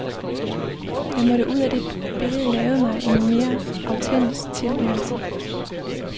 Jeg måtte ud af det billede, lave mig en mere autentisk tilværelse.